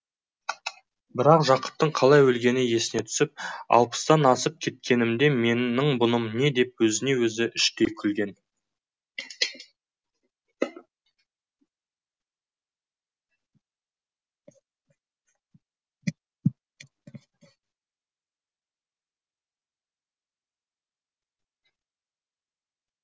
бірақ жақыптың қалай өлгені есіне түсіп алпыстан асып кеткенімде менің бұным не деп өзіне өзі іштей күлген